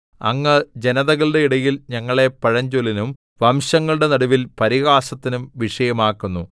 അങ്ങ് ജനതകളുടെ ഇടയിൽ ഞങ്ങളെ പഴഞ്ചൊല്ലിനും വംശങ്ങളുടെ നടുവിൽ പരിഹാസത്തിനും വിഷയം ആക്കുന്നു